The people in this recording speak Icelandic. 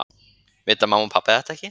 Vita mamma og pabbi þetta ekki?